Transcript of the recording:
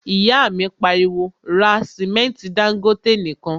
ìyá mi pariwo, 'ra sìmẹ́ntí Dangote nìkan'